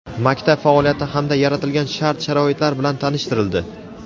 maktab faoliyati hamda yaratilgan shart-sharoitlar bilan tanishtirildi.